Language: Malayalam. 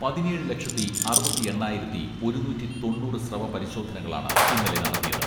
പതിനേഴ് ലക്ഷത്തി അറുപത്തിയെണ്ണായിരത്തി ഒരുന്നൂറ്റി തൊണ്ണൂറ് സ്രവ പരിശോധനകളാണ് ഇന്നലെ നടത്തിയത്.